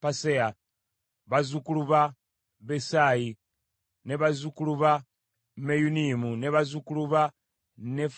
bazzukulu ba Besayi, bazzukulu ba Meyunimu, bazzukulu ba Nefisimu,